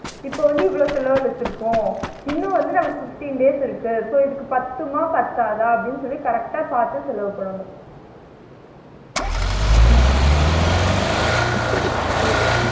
இப்ப வந்து இவ்ளோ செலவழிச்சிரிக்கோம் இன்னும் வந்து நமக்கு fifteen days இருக்கு so இதுக்கு பத்துமா? பத்தாதா? அப்டின்னு சொல்லி correct ஆ பாத்து செலவு பண்ணனும் உம் ஓ